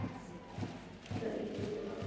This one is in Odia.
ସାଇକେଲ ରେ ଗଲା ବେଳକୁ